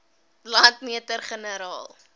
landmeter generaal